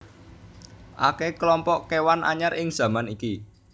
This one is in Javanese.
Akè klompok kéwan anyar ing zaman iki